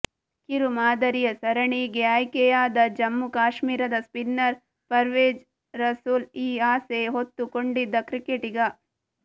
ಕಿರು ಮಾದರಿಯ ಸರಣಿಗೆ ಆಯ್ಕೆಯಾದ ಜಮ್ಮು ಕಾಶ್ಮೀರದ ಸ್ಪಿನ್ನರ್ ಪರ್ವೇಜ್ ರಸೂಲ್ ಈ ಆಸೆ ಹೊತ್ತುಕೊಂಡಿದ್ದ ಕ್ರಿಕೆಟಿಗ